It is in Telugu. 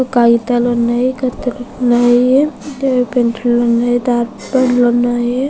కాగితాలు ఉన్నాయి. కత్తెరలు ఉన్నాయి. ఇంకా పెన్సిల్స్ ఉన్నాయి. డార్క్ పెన్స్ లు ఉన్నాయి.